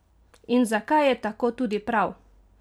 In zakaj je tako tudi prav?